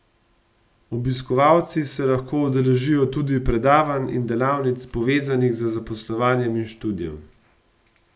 Obiskovalci se lahko udeležijo tudi predavanj in delavnic, povezanih z zaposlovanjem in študijem.